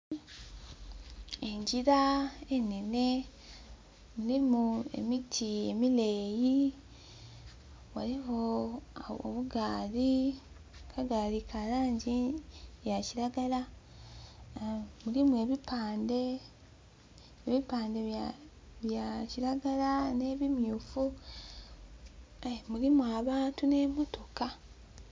Engira enene erimu emiti emileeyi ghaligho obugaali, akagaali ka langi ya kiragala mulimu ebipande, ebipande bya kiragala ne bi myufu mulimu abantu ne motoka.